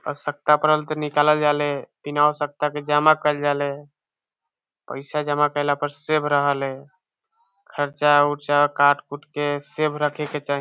आवश्यकता परल ते निकालल जाले बिन आवश्यकता के जमा केएल जाले पैसा जमा करला पर सेव रहल ए खर्चा-उर्चा काट उट के सेव रखे के चाही।